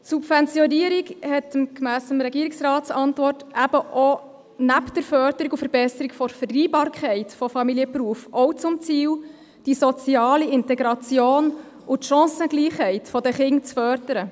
Die Subventionierung hat gemäss der Antwort des Regierungsrats neben der Förderung und Verbesserung der Vereinbarkeit von Familie und Beruf auch zum Ziel, die soziale Integration und die Chancengleichheit der Kinder zu fördern.